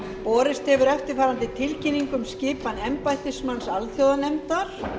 borist hefur eftirfarandi tilkynning um skipan embættismanns alþjóðanefndar